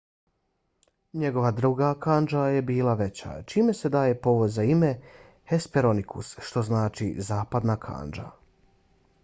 njegova druga kandža je bila veća čime se daje povod za ime hesperonikus što znači zapadna kandža